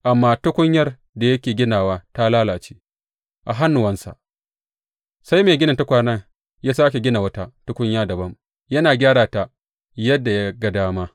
Amma tukunyar da yake ginawa ta lalace a hannuwansa, sai mai ginin tukwanen ya sāke gina wata tukunya dabam, yana gyara ta yadda ya ga dama.